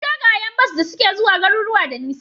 Akwai dogayen bas da suke zuwa garuruka da nisa